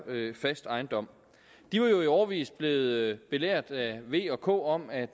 fast ejendom de var jo i årevis blevet belært af v og k om at